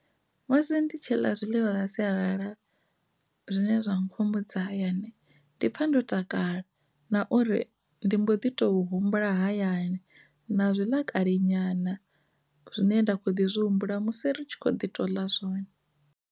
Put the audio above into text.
Musi ndi tshi ḽa zwiḽiwa zwa sialala zwine zwa nkhumbudza hayani ndi pfha ndo takala na uri ndi mbo ḓi to humbula hayani na zwiḽa kale nyana zwine nda kho ḓi zwi humbula musi ri tshi kho ḓi to ḽa zwone.